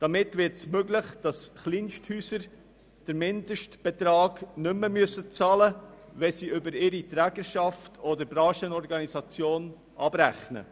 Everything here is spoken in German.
Damit wird es möglich, dass Kleinsthäuser den Mindestbetrag nicht mehr zahlen müssen, wenn sie über ihre Trägerschaft oder Branchenorganisation abrechnen.